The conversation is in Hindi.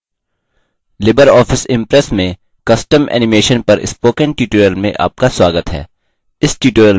लिबर ऑफिस impress में custom animation custom animation पर spoken tutorial में आपका स्वागत है